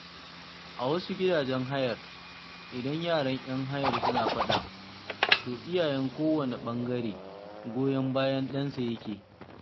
A wasu gidajen hayar, idan yaran 'yan hayar suna faɗa, to iyayen kowane ɓangare goyon bayan ɗansa yake.